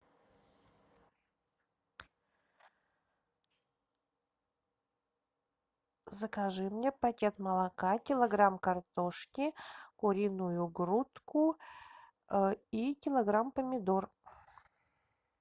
закажи мне пакет молока килограмм картошки куриную грудку и килограмм помидор